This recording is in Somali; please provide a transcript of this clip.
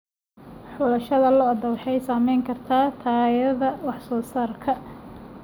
Xulashada lo'da waxay saameyn kartaa tayada wax soo saarka.